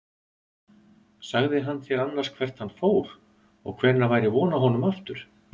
Sagði hann þér annars hvert hann fór og hvenær væri von á honum aftur?